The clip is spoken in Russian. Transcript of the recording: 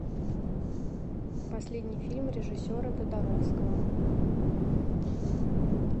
последний фильм режиссера тодоровского